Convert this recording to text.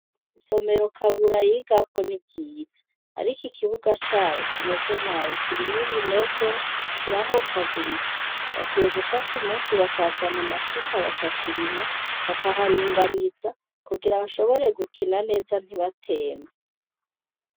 Isomero kabura yigagako niryiza ariko ikibuga caho kimeze nabi kirimwo ibinogo kirahomvaguritse bakwiye gufata umunsi bakazana amasuka bakakirima bakaharinganiza kugira bashobora gukina neza ntibatembe